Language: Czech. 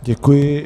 Děkuji.